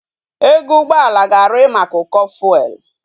Ego ugboala ga ari maka uko fuel